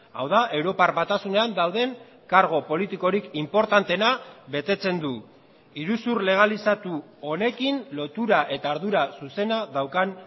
hau da europar batasunean dauden kargu politikorik inportanteena betetzen du iruzur legalizatu honekin lotura eta ardura zuzena daukan